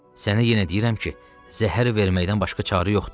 Sənə yenə deyirəm ki, zəhər verməkdən başqa çarə yoxdur.